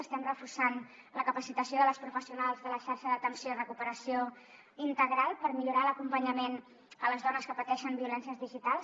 estem reforçant la capacitació de les professionals de la xarxa d’atenció i recuperació integral per millorar l’acompanyament a les dones que pateixen violències digitals